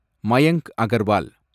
Mayank Agarwal